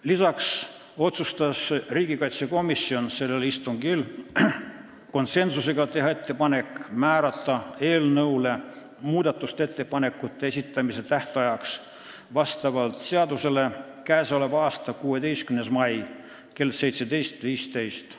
Lisaks otsustas riigikaitsekomisjon sellel istungil konsensusega teha ettepaneku määrata eelnõu muudatusettepanekute esitamise tähtajaks vastavalt seadusele k.a 16. mai kell 17.15.